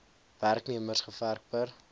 werknemers gewerf per